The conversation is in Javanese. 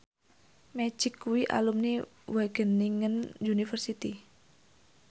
Magic kuwi alumni Wageningen University